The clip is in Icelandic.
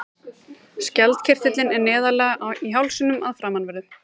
Skjaldkirtillinn er neðarlega í hálsinum framanverðum.